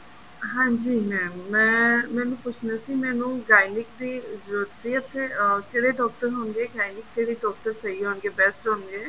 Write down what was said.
ਹਾਂਜੀ mam ਮੈਂ ਮੈਨੂੰ ਪੁੱਛਣਾ ਸੀ ਮੈਨੂੰ Gynec ਦੀ ਜਰੂਰਤ ਸੀ ਇੱਥੇ ਕਿਹੜੇ ਡਾਕਟਰ ਹੋਣਗੇ Gynec ਦੇ ਲਈ ਡਾਕਟਰ ਸਹੀ ਹੋਣਗੇ best ਹੋਣਗੇ